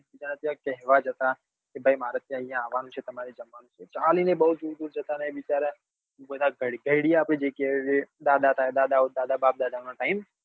એક બીજા ને ત્યો કેહવા જતા કે મારે ત્ચા ભાઈ આવાનું છે તમારે જમવાનું છે. ચાલીને બઉ દુર દુર જતા રહે બધા ગરડીયા બી જગ્યા એ દાદા ઓ બાપ દાદા નો time